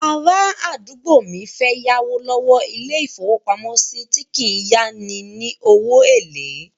Arádúgbò mi fẹ́ yáwó lọ́wọ́ ilé-ìfowópamọ́sí tí kìí yá ni ní owó èlé